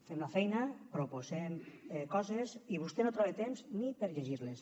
fem la feina proposem coses i vostè no troba temps ni per llegir les